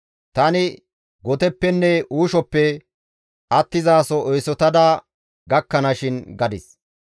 Tani goteppenne uushoppe attizaso eesotada gakkana shin» gadis.